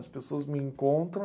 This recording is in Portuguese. As pessoas me encontram...